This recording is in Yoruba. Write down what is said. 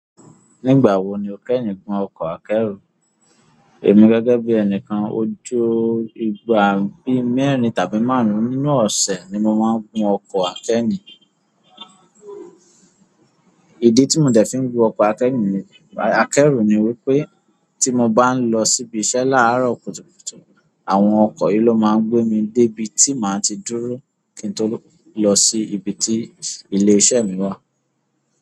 Nígbà wo ni o kẹ́ni gun ọkọ̀ akẹ́rù? Èmi gẹ́gẹ́ bí ẹnìkan ojo ìgbà bí mẹ́rin tàbí márùn-ún ní ọ̀sẹ̀ ni mo máa ń gun ọkọ̀ akẹ́rù. Ìdí tí mo dẹ̀ fi ń gun ọkọ̀ akẹ́rù ni wípé tí mo bá ń lọ síbi iṣẹ́ láàárọ̀ kùtùkùtù, àwọn ọkọ̀ yìí ló máa ń gbé mi dé ibi tí màá ti dúró kí n tó lọ sí ibi tí ilé iṣẹ́ mi wà.